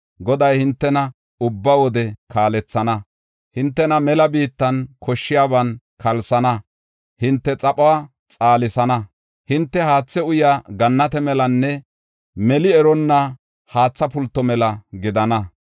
Goday hintena ubba wode kaalethana; hintena mela biittan koshshiyaban kalsana; hinte xaphuwa xaalisana. Hinte haathe uyaa gannate melanne meli eronna haatha pulto mela gidana.